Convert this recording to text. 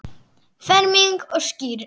Ferming og skírn.